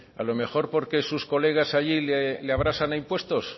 a lo mejor porque sus colegas allí le abrasan a impuestos